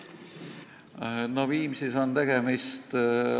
Aitäh küsimuse eest!